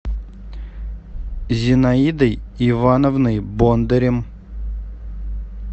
зинаидой ивановной бондарем